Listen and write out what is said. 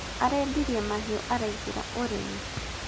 Arendirie mahiũ araingĩra ũrĩmi